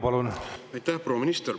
Proua minister!